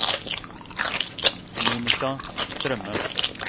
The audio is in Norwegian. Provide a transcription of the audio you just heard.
Monika Strømme